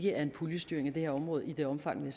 er en puljestyring af det her område i det omfang